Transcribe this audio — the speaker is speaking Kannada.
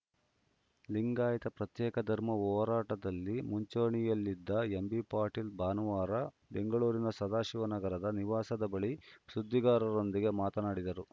ಲಿಂಗಾಯತ ಪ್ರತ್ಯೇಕ ಧರ್ಮ ಹೋರಾಟದಲ್ಲಿ ಮುಂಚೂಣಿಯಲ್ಲಿದ್ದ ಎಂಬಿ ಪಾಟೀಲ್‌ ಭಾನುವಾರ ಬೆಂಗಳೂರಿನ ಸದಾಶಿವನಗರದ ನಿವಾಸದ ಬಳಿ ಸುದ್ದಿಗಾರರೊಂದಿಗೆ ಮಾತನಾಡಿದರು